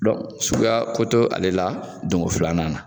suguyako to ale la donko filanan na